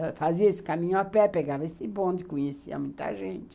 Eu fazia esse caminho a pé, pegava esse bonde, conhecia muita gente.